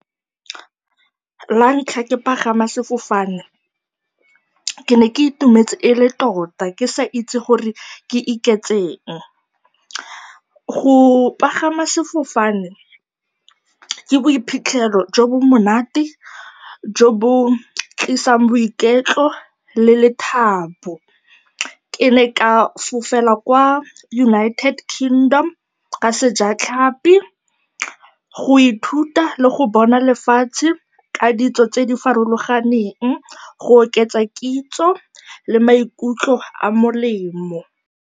La ntlha ke pagama sefofane ke ne ke itumetse e le tota, ke sa itse gore ke iketseng. Go pagama sefofane ke boiphitlhelo jo bo monate jo bo tlisang boiketlo le lethabo. Ke ne ka fofela kwa United Kingdom, ka sejatlhapi, go ithuta le go bona lefatshe ka ditso tse di farologaneng, go oketsa kitso le maikutlo a a molemo.